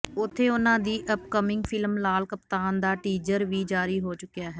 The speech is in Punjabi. ਉੱਥੇ ਉਨ੍ਹਾਂ ਦੀ ਅਪਕਮਿੰਗ ਫਿਲਮ ਲਾਲ ਕਪਤਾਨ ਦਾ ਟੀਜਰ ਵੀ ਜਾਰੀ ਹੋ ਚੁੱਕਿਆ ਹੈ